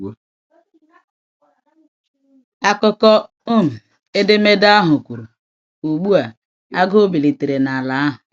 Akụkọ um edemede ahụ kwuru: “Ugbu a, agụụ bilitere n’ala ahụ.”